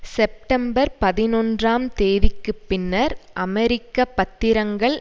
September பதினொன்றாம் தேதிக்குப் பின்னர் அமெரிக்க பத்திரங்கள்